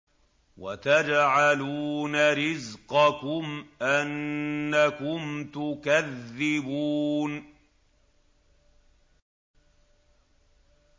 وَتَجْعَلُونَ رِزْقَكُمْ أَنَّكُمْ تُكَذِّبُونَ